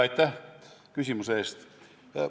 Aitäh küsimuse eest!